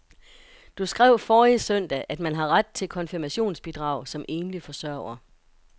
Du skrev forrige søndag, at man har ret til konfirmationsbidrag som enlig forsørger.